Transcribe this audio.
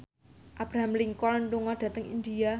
Abraham Lincoln lunga dhateng India